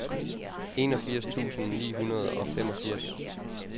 enogfirs tusind ni hundrede og femogfirs